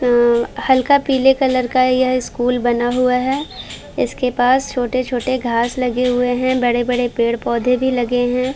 अं हल्का पीले कलर का यह स्कूल बना हुआ है इसके पास छोटे-छोटे घास लगे हुए हैं। बड़े-बड़े पेड़-पौधे भी लगे हैं।